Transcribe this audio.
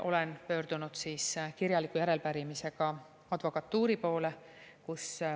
Olen pöördunud kirjaliku järelepärimisega advokatuuri poole.